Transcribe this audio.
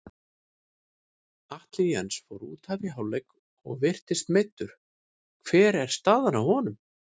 Atli Jens fór útaf í hálfleik og virtist meiddur, hver er staðan á honum?